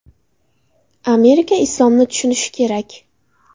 Amerika islomni tushunishi kerak.